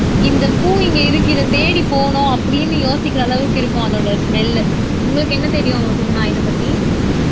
இந்த பூ இங்க இருக்கு இதைத் தேடிப் போகனும் அப்படீன்னு யோசிக்கிற அளவுக்கு இருக்கும் அதோட ஸ்மெல்லு உங்களுக்கு என்ன தெரியும் சுகுனா இதை பத்தி